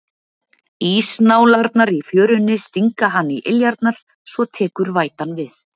Ísnálarnar í fjörunni stinga hann í iljarnar, svo tekur vætan við.